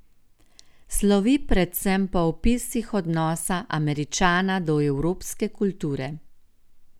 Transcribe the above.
Slovi predvsem po opisih odnosa Američana do evropske kulture.